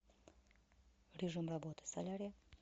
режим работы солярия